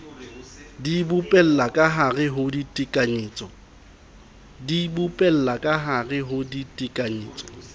di bopella kahare ho ditekanyetso